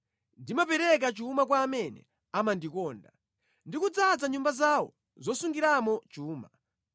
Ndimapereka chuma kwa amene amandikonda ndi kudzaza nyumba zawo zosungiramo chuma.